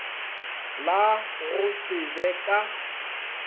la go se be ka